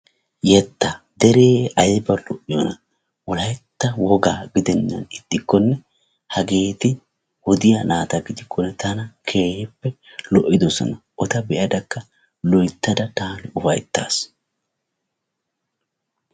Yettaa deree ayba lo7iyoona wolaytta wogaa gidennan ixxikkonne hageeti wodiya naata gidikkonne tana keehippe lo7idosona. Eta be7adakka loyittada taani ufayittaas.